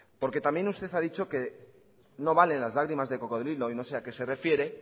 también usted ha dicho que no vale las lágrimas de cocodrilo y no sé a qué se refiere